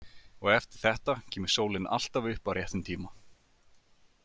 Og eftir þetta kemur sólin alltaf upp á réttum tíma.